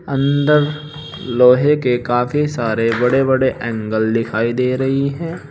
अंदर लोहे के काफी सारे बड़े बड़े एंगल दिखाई दे रही है।